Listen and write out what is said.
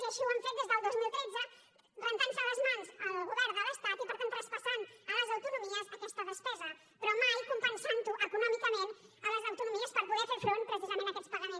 i així ho han fet des del dos mil tretze i se n’ha rentat les mans el govern de l’estat i per tant ha traspassat a les autonomies aquesta despesa però mai ho ha compensat econòmicament a les autonomies per poder fer front precisament a aquests pagaments